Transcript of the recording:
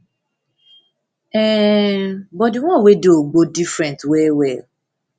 um but di one wey dey ugbo different well well